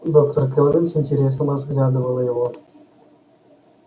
доктор кэлвин с интересом разглядывала его